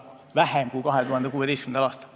Seda on vähem kui 2016. aastal.